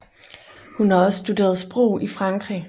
Hun har også studeret sprog i Frankrig